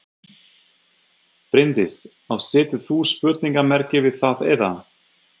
Bryndís: Og setur þú spurningamerki við það eða?